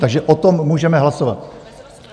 Takže o tom můžeme hlasovat.